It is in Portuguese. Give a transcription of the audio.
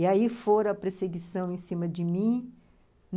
E aí foi a perseguição em cima de mim.